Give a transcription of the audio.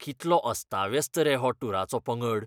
कितलो अस्ताव्यस्त रे हो टूराचो पंगड!